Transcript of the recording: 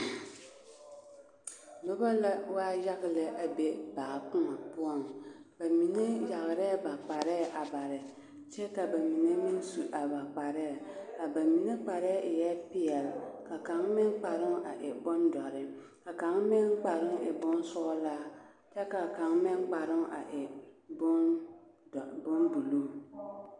Nobɔ la waa yaga lɛ a be baa koɔ poɔŋ ba mine yagrɛɛ bakparɛɛ a bare kyɛ ka ba mine su a ba kparɛɛ a ba mine kparɛɛ eɛɛ peɛl kyɛ ka kaŋ meŋ kparoŋ a e bondɔre ka kaŋ meŋ kparoŋ a e bonsɔglaa kyɛ ka kaŋ meŋ kparoŋ a e bonbuluu.